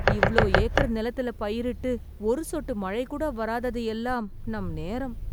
இவளோ ஏக்கர் நிலத்துல பயிரிட்டு ஒரு சொட்டு மழை கூட வராதது எல்லாம் நம் நேரம்